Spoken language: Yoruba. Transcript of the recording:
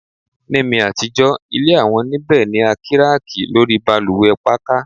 Ni mi atijọ ile awọn nibẹ ni a kiraki lori balùwẹ pakà